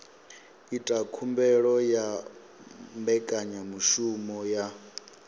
ita khumbelo ya mbekanyamushumo ya